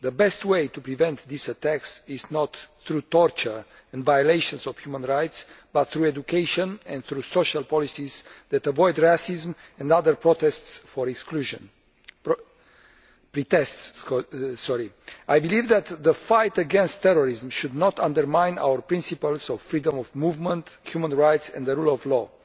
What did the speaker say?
The best way to prevent these attacks is not through torture and violation of human rights but through education and social policies that avoid racism and other pretexts for exclusion. I do not believe that the fight against terrorism should undermine our principles of freedom of movement, human rights and the rule of law.